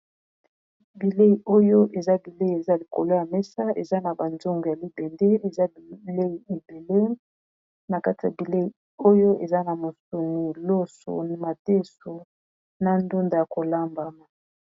Bileyi oyo eza bilei eza likolo ya mesa eza na ba nzungu ya libende eza bilei ebele na kati ya bilei oyo eza na mosuni, loso, madesu na ndunda ya kolambama.